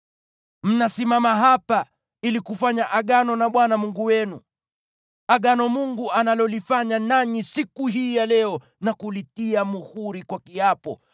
Mnasimama hapa ili kufanya Agano na Bwana Mungu wenu, Agano ambalo Mungu analifanya nanyi siku hii ya leo na kulitia muhuri kwa kiapo,